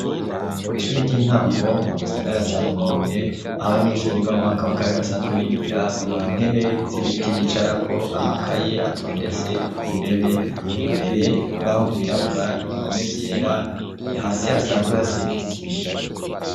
Kw'ishuri ry'intango mu gisagara carumonge aho abanyenshuri biga amwaka wa kabiri basanzwe bigira intebe z'ibiti bicarako amakaye atondetse ku ntebe imbere urubaho rwirabura ibihome vyera ihasi hasanzwe hasizisima.